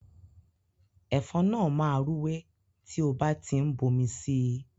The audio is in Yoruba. Ẹ̀fọ́ náà máa rúwé tí o bá ti ń bomi sí i.